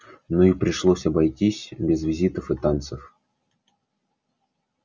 ну и пришлось обойтись без визитов и танцев